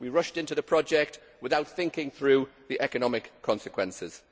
We rushed into the project without thinking through the economic consequences.